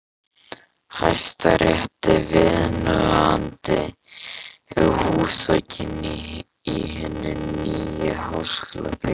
Hæstarétti viðunandi húsakynni í hinni nýju háskólabyggingu.